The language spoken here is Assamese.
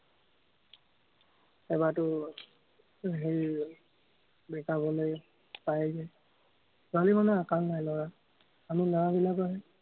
এবাৰতো হেৰি break-up হলে, পাই যায়। ছোৱালী মানুহৰ আকাল নাই, লৰাৰ। আমি লৰাবিলাকৰহে